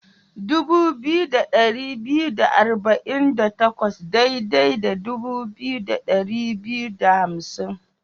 Dubu biyu da dari biyu da arba'in da takwas daidai da dubu biyu da dari biyu da hamsin.